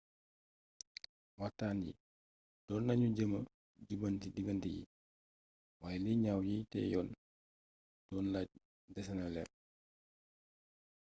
waxtaan yi doon nañu jéema jubbanti diggante yi waaye li ñaaw yiy tëjoon doon laaj desena leer